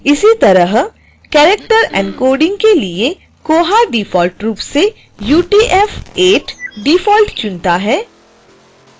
इसी तरह character encoding के लिए koha डिफॉल्ट रूप से utf8 default चुनता है